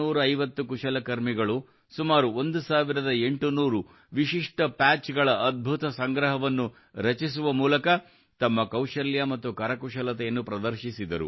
450 ಕುಶಲಕರ್ಮಿಗಳು ಸುಮಾರು 1800 ವಿಶಿಷ್ಟ ಪ್ಯಾಚ್ಗಳ ಅದ್ಭುತ ಸಂಗ್ರಹವನ್ನು ರಚಿಸುವ ಮೂಲಕ ತಮ್ಮ ಕೌಶಲ್ಯ ಮತ್ತು ಕರಕುಶಲತೆಯನ್ನು ಪ್ರದರ್ಶಿಸಿದರು